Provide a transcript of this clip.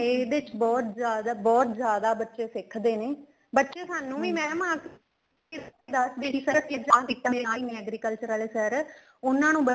ਇਹਦੇ ਚ ਬਹੁਤ ਜਿਆਦਾ ਬਹੁਤ ਜਿਆਦਾ ਬੱਚੇ ਸਿੱਖਦੇ ਨੇ ਬੱਚੇ ਸਾਨੂੰ ਵੀ madam ਆਕੇ ਦੱਸਦੇ ਨੇ ਕੀ sir ਆ ਕਿੱਦਾਂ ਸਿਖਾਂਦੇ ਮੇਰੇ agriculture ਆਲੇ sir ਉਹਨਾ ਨੂੰ